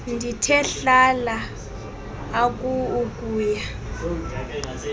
ndithe hlala akuukuya